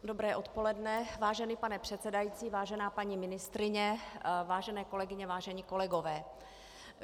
Dobré odpoledne, vážený pane předsedající, vážená paní ministryně, vážené kolegyně, vážení kolegové.